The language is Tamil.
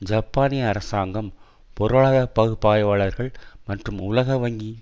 ஜப்பானிய அரசாங்கம் பொருளாதார பகுப்பாய்வாளர்கள் மற்றும் உலக வங்கி